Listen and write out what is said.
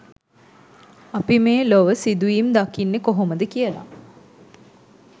අපි මේ ලොව සිදුවීම් දකින්නෙ කොහොමද කියලා